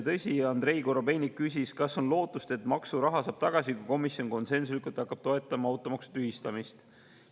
Andrei Korobeinik küsis, kas on lootust, et maksuraha saab tagasi, kui komisjon konsensuslikult toetab automaksu tühistamist.